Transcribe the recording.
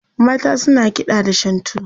mata suna kiɗa da shantu